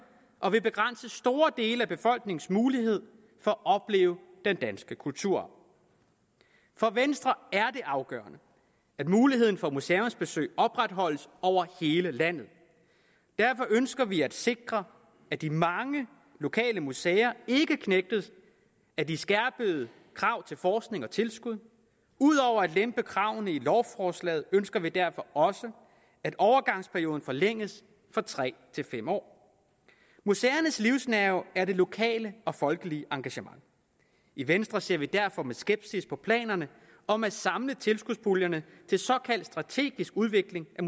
og vil begrænse store dele af befolkningens mulighed for at opleve den danske kulturarv for venstre er det afgørende at muligheden for museumsbesøg opretholdes over hele landet derfor ønsker vi at sikre at de mange lokale museer ikke knægtes af de skærpede krav til forskning og tilskud ud over at lempe kravene i lovforslaget ønsker vi derfor at overgangsperioden forlænges fra tre år til fem år museernes livsnerve er det lokale og folkelige engagement i venstre ser vi derfor med skepsis på planerne om at samle tilskudspuljerne til såkaldt strategisk udvikling af